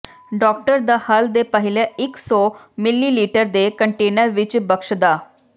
doctor ਦਾ ਹੱਲ ਦੇ ਪਹਿਲੇ ਇੱਕ ਸੌ ਿਮਲੀਲੀਟਰ ਦੇ ਕੰਟੇਨਰ ਵਿੱਚ ਬਖਸ਼ਦਾ